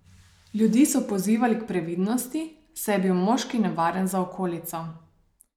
Ljudi so pozivali k previdnosti, saj je bil moški nevaren za okolico.